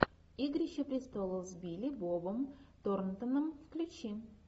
игрища престолов с билли бобом торнтоном включи